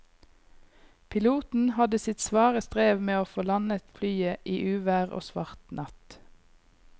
Piloten hadde sitt svare strev med å få landet flyet i uvær og svart natt.